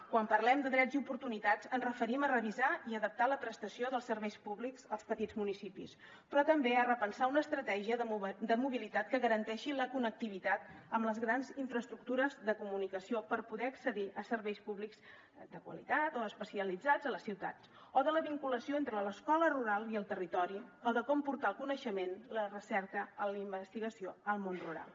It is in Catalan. quan parlem de drets i oportunitats ens referim a revisar i adaptar la prestació dels serveis públics als petits municipis però també a repensar una estratègia de mobilitat que garanteixi la connectivitat amb les grans infraestructures de comunicació per poder accedir a serveis públics de qualitat o especialitzats a les ciutats o de la vinculació entre l’escola rural i el territori o de com portar el coneixement la recerca o la investigació al món rural